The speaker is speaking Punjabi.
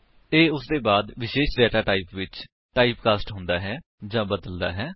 ਇਹ ਉਸਦੇ ਬਾਅਦ ਵਿਸ਼ੇਸ਼ ਡੇਟਾਟਾਇਪ ਵਿੱਚ ਟਾਇਪਕਾਸਟ ਹੁੰਦਾ ਜਾਂ ਬਦਲਦਾ ਹੈ